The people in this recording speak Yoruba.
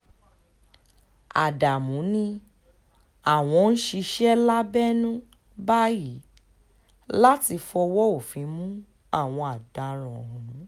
ádámù ni àwọn ń ṣiṣẹ́ lábẹ́nú báyìí láti fọwọ́ òfin mú àwọn ọ̀daràn ọ̀hún